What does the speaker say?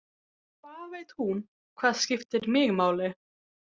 Hvað veit hún hvað skiptir mig máli?